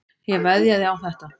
Ég veðjaði á þetta.